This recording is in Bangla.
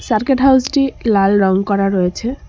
সার্কেট হাউসটি লাল রং করা রয়েছে।